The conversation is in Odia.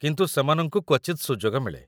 କିନ୍ତୁ ସେମାନଙ୍କୁ କ୍ୱଚିତ୍ ସୁଯୋଗ ମିଳେ ।